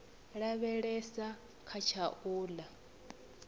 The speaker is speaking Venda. lavhelesa kha tsha u ḽa